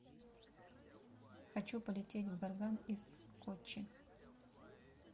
хочу полететь в горган из коччи